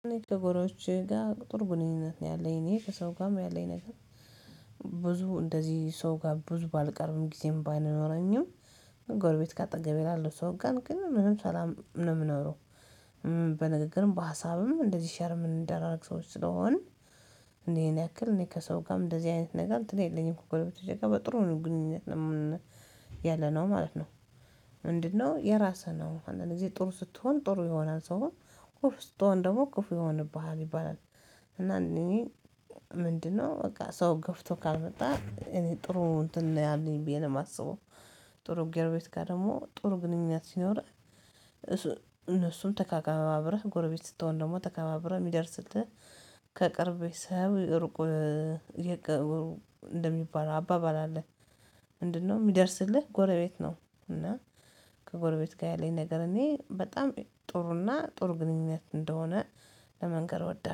እኔ ከጎረቤቶቼ ጋር ጥሩ ግንኙነት ነው ያለኝ እኔ ከሰው ጋርም ያለኝ ነገር ብዙ እንደዚህ ሰው ጋር ብዙ ባልቀርብም ጊዜም ባይኖረኝም ጎርቤት ጋር ጠገቤ ላለው ሰው ጋር ግን ምንም ሰላም ነው የምናውረው። በንግግርም በሀሳብም እንደዚህ ሸርምን እንደራረግ ሰዎች ስለሆን። እኔን ያክል እኔ ከሰው ጋርም እንደዚህ አይነት ነገር እንትን የለኝም ኮከብ በተጨማሪ ጋር በጥሩ ነው ግንኙነት የምን ያለ ነው ማለት ነው። የራስህ ነው አንዳንዴ ጥሩ ስትሆን ጥሩ የሆነ ሰው አሁን እፍ ስትሆን ደግሞ እፍ ይሆንብሃል ይባላል። እና እኔ ምንድነው በቃ ሰው ገፍቶ ካልመጣ እኔ ጥሩ እንትን ነው ያለኝ ብዬ ነው የማስበው። ጥሩ ጎረቤት ጋር ደግሞ ጥሩ ግንኙነት ሲኖርህ። እነሱን ተከባብረህ ጎረቤት ስትሆን ደግሞ ተከባብረህ የሚደርስ ስትል ከቅርብ ሰው ርቁር እንደሚባል አባባል አለ። ምንድነው የሚደርስልህ ጎረቤት ነው? እና ከጎርቤት ጋር ያለኝ ነገር እኔ በጣም ጥሩና ጥሩ ግንኙነት እንደሆነ ለመንገር ወደፍ